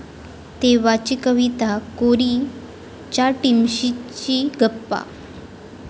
तेव्हाची कविता कोरी...'च्या टीमशी गप्पा